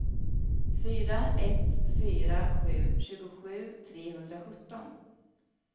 fyra ett fyra sju tjugosju trehundrasjutton